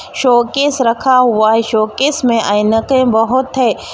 Showcase रखा हुआ है शोकेस में ऐनके बहुत है।